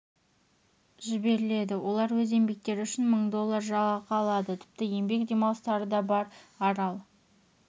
жіберіледі олар өз еңбектері үшін мың доллар жалақы алады тіпті еңбек демалыстары да бар арал